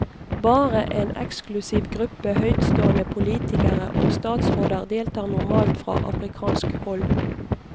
Bare en eksklusiv gruppe høytstående politikere og statsråder deltar normalt fra afrikansk hold.